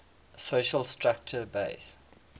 social structure based